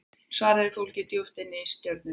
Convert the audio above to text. Svarið er fólgið djúpt inni í stjörnunum.